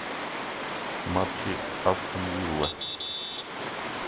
матчи астон виллы